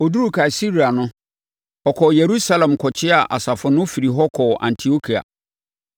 Ɔduruu Kaesarea no, ɔkɔɔ Yerusalem kɔkyeaa asafo no firii hɔ kɔɔ Antiokia.